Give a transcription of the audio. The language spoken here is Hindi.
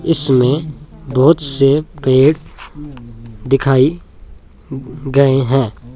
इसमे बोहोत से पेड़ दिखाई गए हैं।